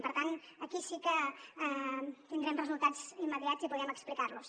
per tant aquí sí que tindrem resultats immediats i podrem explicar los